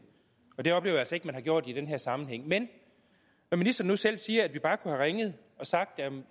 det oplever jeg altså ikke man har gjort i den her sammenhæng men når ministeren nu selv siger at vi bare kunne have ringet og sagt at vi